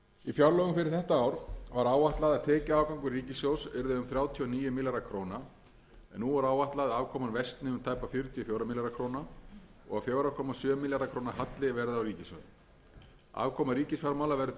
fjárlögum fyrir þetta ár var áætlað að tekjuafgangur ríkissjóðs yrði um þrjátíu og níu milljarðar króna en nú er áætlað að afkoman versni um tæpa fjörutíu og fjóra milljarða króna og að fjóra komma sjö milljarða króna halli verði á ríkissjóði afkoma ríkisfjármála verður því mun